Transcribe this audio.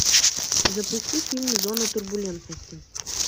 запусти фильм зона турбулентности